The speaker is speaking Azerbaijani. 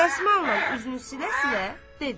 Dəsmalla üzünü silə-silə dedi.